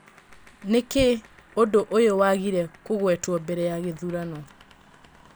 Nĩkĩ ũndũ ũyũ wagire kũgwetwo mbere ya gĩthurano?